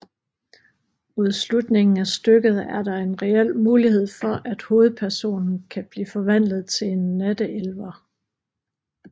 Mod slutningen af stykket er der en reel mulighed for at hovedpersonen kan blive forvandlet til en natteelver